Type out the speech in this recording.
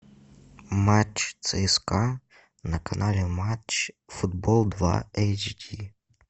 матч цска на канале матч футбол два эйч ди